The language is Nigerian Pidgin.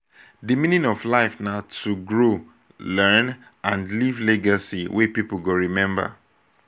di meaning of life na to grow learn and leave legacy wey pipo go rememba.